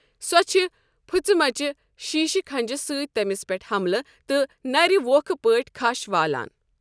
سۄ چھے٘ پھٕچِمژ شیٖشہِ کھنٛجہِ سۭتۍ تٔمِس پٮ۪ٹھ حملہٕ، تہٕ نَرِ وۄکھہٕ پٲٹھہِ كھش والان ۔